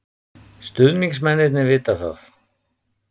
Stuðningsmennirnir vita það.